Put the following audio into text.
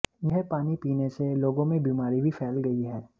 यह पानी पीने से लोगों में बीमारी भी फैल गई है